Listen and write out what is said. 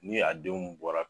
Ni a denw bɔra